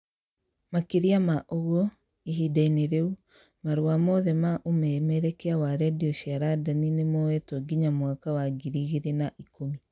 Makĩria ma ũguo, ihinda-inĩ rĩu, marũa mothe maumemerekia wa redio cia London nĩ moetũo nginya mwaka wa ngiri igĩrĩ na ĩkumi